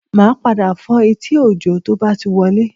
Màá padà fọ́ etí Òjó tó bá ti wọlé